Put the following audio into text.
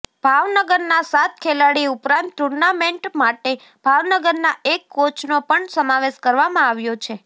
ભાવનગરના સાત ખેલાડી ઉપરાંત ટૂર્નામેન્ટ માટે ભાવનગરના એક કોચનો પણ સમાવેશ કરવામાં આવ્યો છે